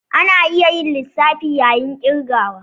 Ana iya yin lissafi yayin ƙirgawa.